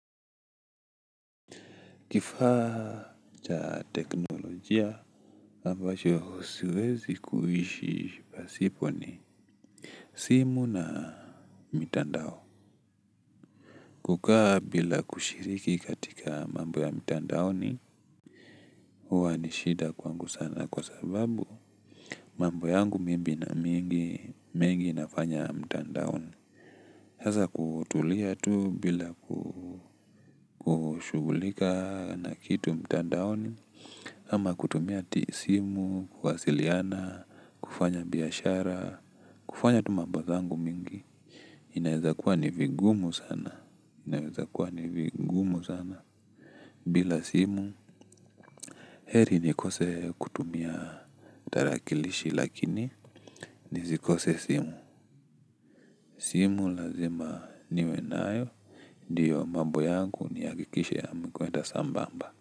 Kifaa cha teknolojia aMbacho siwezi kuishi basipo ni simu na mitandao. Kukaa bila kushiriki katika mambo ya mitandaoni. Huwa ni shida kwangu sana kwa sababu mambu yangu mebina mengi mengi nafanya mitandaoni. Hasa kutulia tu bila kushugulika na kitu mitandaoni. Ama kutumia simu, kuwasiliana, kufanya biyashara, kufanya tu mambo zangu mingi. Inaweza kuwa nivigumu sana, inaweza kuwa nivigumu sana. Bila simu, heri nikose kutumia tarakilishi lakini nizikose simu. Simu lazima niwenayo, ndiyo mambo yangu niakikishe yamekwenda sambamba.